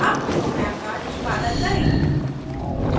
अब प्रोग्राम का निष्पादन करें